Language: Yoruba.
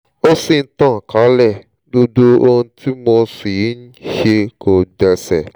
ó ṣì ń tàn kálẹ̀ gbogbo ohun tí mo sì ń ṣe kò gbéṣẹ́